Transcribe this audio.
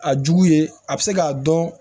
A jugu ye a bɛ se k'a dɔn